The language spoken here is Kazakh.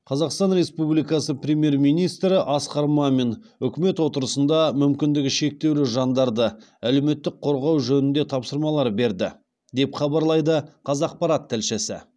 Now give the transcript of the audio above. қазақстан республикасы премьер министрі асқар мамин үкімет отырысында мүмкіндігі шектеулі жандарды әлеуметтік қорғау жөнінде тапсырмалар берді деп хабарлайды қазақпарат тілшісі